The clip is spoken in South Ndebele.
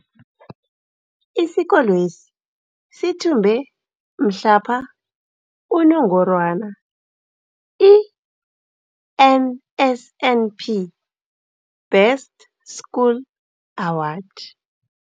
Isikolwesi sithumbe mhlapha unongorwana i-NSNP Best School Award.